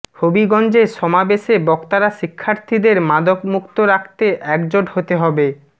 হবিগঞ্জে সমাবেশে বক্তারা শিক্ষার্থীদের মাদকমুক্ত রাখতে একজোট হতে হবে